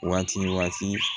Waati waati